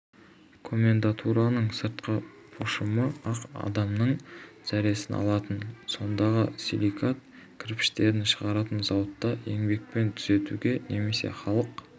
комендатураның сыртқы пошымы-ақ адамның зәресін алатын осындағы силикат кірпіштерін шығаратын зауытта еңбекпен түзетуге немесе халық